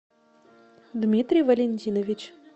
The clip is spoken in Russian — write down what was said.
дмитрий валентинович